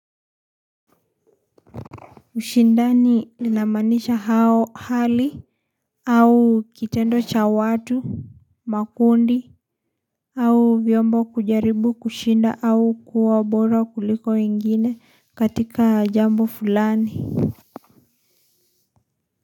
Ushindani linamaanisha hali au kitendo cha watu makundi au vyombo kujaribu kushinda au kuwa bora kuliko wengine katika jambo fulani.